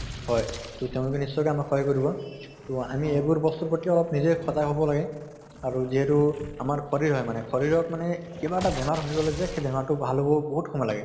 হয়। তʼ তেওঁলোকে নিশ্চয়কৈ আমাক সহায় কৰিব। তʼ আমি এইবোৰ বস্তুৰ প্ৰতি অলপ নিজে সজাগ হʼব লাগে আৰু যিহেতু আমাৰ শৰীৰ হয় মানে, শৰীৰক মানে কিবা এটা বেমাৰ হৈ গʼলে যে সেই বেমাৰ টো ভাল হʼবলৈ বহুত সময় লাগে।